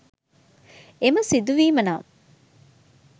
එම සිදුවීම නම්